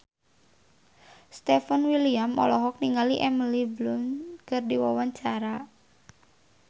Stefan William olohok ningali Emily Blunt keur diwawancara